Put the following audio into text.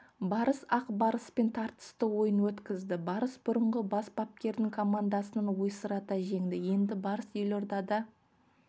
барыс ақ барыспен тартысты ойын өткізді барыс бұрынғы бас бапкерінің командасын ойсырата жеңді енді барыс елордада